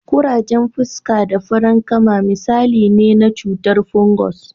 Kurajen fuska da farankama misalai ne na cutar fungus.